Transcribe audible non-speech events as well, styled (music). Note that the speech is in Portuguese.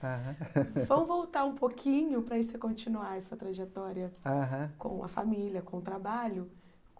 Aham (laughs) vamos voltar um pouquinho para você continuar essa trajetória aham com a família, com o trabalho.